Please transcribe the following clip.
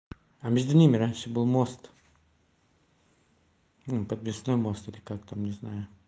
а между ними раньше был мост ну подвесной мост или как там не знаю